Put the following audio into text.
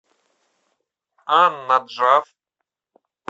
ан наджаф